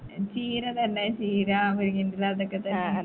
ചീര തന്നെ ചീര മുരിങ്ങന്റെ എല അതൊക്കെ തന്നെ